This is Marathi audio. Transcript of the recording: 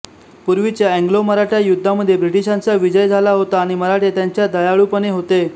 पूर्वीच्या अँग्लोमराठा युद्धामध्ये ब्रिटिशांचा विजय झाला होता आणि मराठे त्यांच्या दयाळूपणे होते